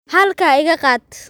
Halkaa iga qaad